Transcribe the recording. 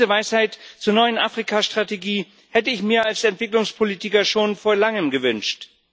Diese Weisheit zur neuen Afrikastrategie hätte ich mir als Entwicklungspolitiker schon vor Langem gewünscht.